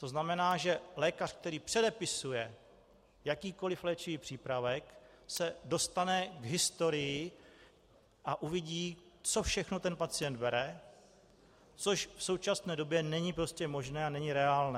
To znamená, že lékař, který předepisuje jakýkoli léčivý přípravek, se dostane k historii a uvidí, co všechno ten pacient bere, což v současné době není prostě možné a není reálné.